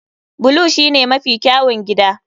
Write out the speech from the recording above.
Blue shine mafi kyawun gida.